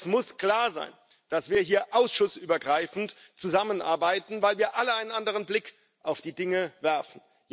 Es muss klar sein, dass wir hier ausschussübergreifend zusammenarbeiten, weil wir alle einen anderen Blick auf die Dinge werfen.